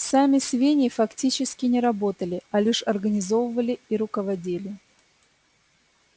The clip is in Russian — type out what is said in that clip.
сами свиньи фактически не работали а лишь организовывали и руководили